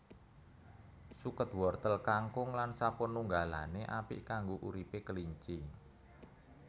Suket wortel kangkung lan sapanunggalané apik kanggo uripé kelinci